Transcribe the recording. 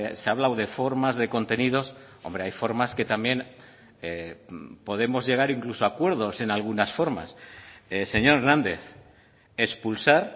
se ha hablado de formas de contenidos hombre hay formas que también podemos llegar incluso a acuerdos en algunas formas señor hernández expulsar